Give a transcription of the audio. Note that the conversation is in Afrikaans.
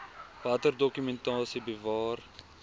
watter dokumentasie bewaar